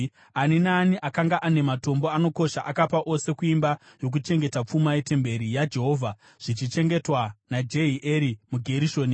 Ani naani akanga ane matombo anokosha akapa ose kuimba yokuchengeta pfuma yetemberi yaJehovha zvichichengetwa naJehieri muGerishoni.